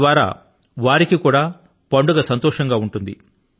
తద్వారా వారికి కూడా పండుగ సంతోషం గా ఉంటుంది